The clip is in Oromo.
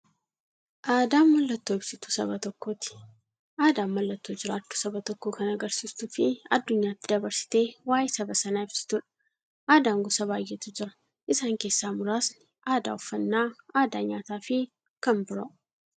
Aadaan mallattoo ibsituu saba tokkooti. Aadaan mallattoo jiraachuu saba tokkoo kan agarsiistufi addunyyaatti dabarsitee waa'ee saba sanaa ibsituudha. Aadaan gosa baay'eetu jira. Isaan keessaa muraasni aadaa, uffannaa aadaa nyaataafi kan biroo.